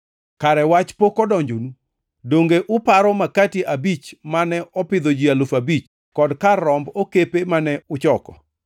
Kare wach pok odonjonu? Donge uparo makati abich mane opidho ji alufu abich, kod kar romb okepe mane uchoko?